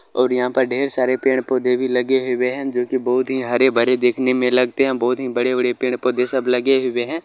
ओर यहाँ पे ढेर सारे पेड़ पोधे भी लगे हुये है जो की बहुत ही हरे भरे देखने में लगते है बहुत ही बड़े-बड़े पेड़ पोधे सभ लगे हुये है।